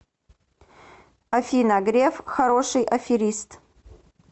афина греф хороший аферист